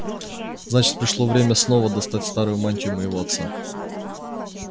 значит пришло время снова достать старую мантию моего отца